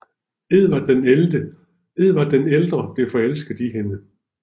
Edvard den ældre blev forelsket i hende